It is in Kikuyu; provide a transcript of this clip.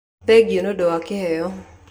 Thengiu ni undu wa kĩheo